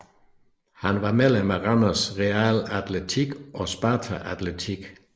Han var medlem Randers Real Atletik og Sparta Atletik